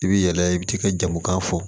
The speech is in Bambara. I b'i yɛlɛ i bɛ t'i ka jamukan fɔ